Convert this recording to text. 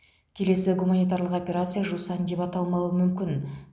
келесі гуманитарлық операция жусан деп аталмауы мүмкін